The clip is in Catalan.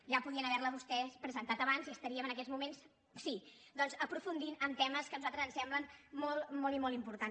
ja podien haver la vostès presentat abans i estaríem en aquests moments sí doncs aprofundint en temes que a nosaltres ens semblen molt i molt importants